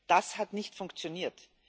Das hat nicht funktioniert.